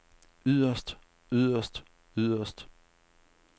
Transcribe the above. yderst yderst yderst